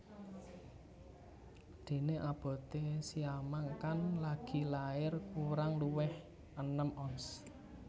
Déné aboté siamang kang lagi lair kurang luwih enem ons